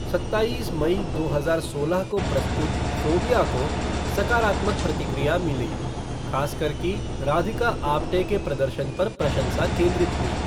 सत्ताईस मई दो हजार सोलह को प्रस्तुत फ़ोबिया को सकारात्मक प्रतिक्रिया मिली, खास कर कि राधिका आप्टे के प्रदर्शन पर प्रशंसा केंद्रित हुई।